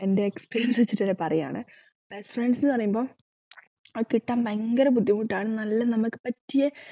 എന്റെ experience വെച്ചിട്ട് ഞാൻ പറയുകയാണ് best friends ന്ന് പറയുമ്പോ അത് കിട്ടാൻ ഭയങ്കര ബുദ്ധിമുട്ടാണ് നല്ല നമ്മക്ക് പറ്റിയെ